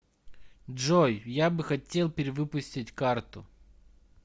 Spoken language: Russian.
джой я бы хотел перевыпустить карту